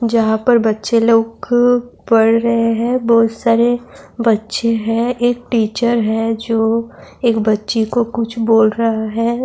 جہاں پر بچے لوگ پڑھ رہے ہیں -بہت ساری بچے ہیں -ایک ٹیچر ہیں جو ایک بچی کو کچھ بول رہا ہے-